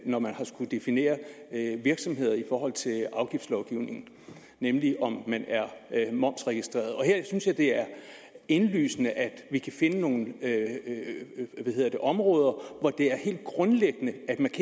når man har skullet definere virksomheder i forhold til afgiftslovgivningen nemlig om man er momsregistreret her synes jeg det er indlysende at vi kan finde nogle områder hvor det er helt grundlæggende